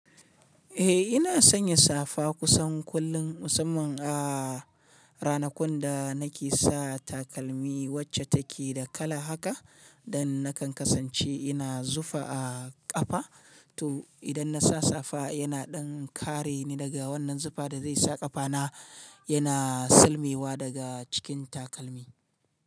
Eh ina sanya safa kusan kullum musamman a ranakun da nake sa takalmi wacce take da kala haka, dan nakan kasance ina zufa a ƙafa to idan nasa safa yana ɗan kareni daga wannan zufa da zai sa ƙafana yana silmewa daga cikin takalmi.